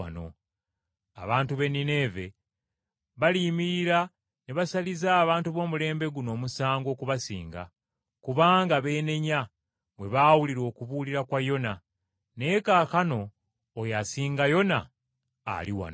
Abantu b’e Nineeve baliyimirira ne basaliza abantu b’omulembe guno omusango okubasinga, kubanga beenenya bwe baawulira okubuulira kwa Yona Naye laba asinga Yona ali wano.”